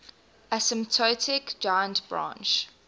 asymptotic giant branch